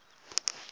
nga ha va ku ri